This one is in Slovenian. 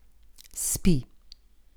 Spi.